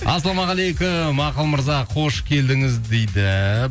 ассалаумағалейкум ақыл мырза қош келдіңіз дейді